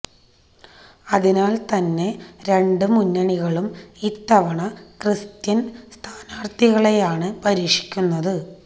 അതിനാൽ തന്നെ രണ്ടു മുന്നണികളും ഇത്തവണ ക്രിസ്ത്യൻ സ്ഥാനാർത്ഥികളെയാണ് പരീക്ഷിക്കുന്നത്